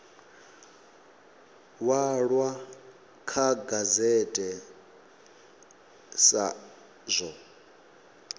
walwa kha gazette sa zwo